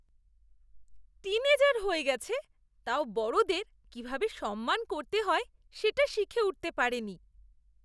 Tin এজার হয়ে গেছে, তাও বড়দের কিভাবে সম্মান করতে হয় সেটা শিখে উঠতে পারেনি।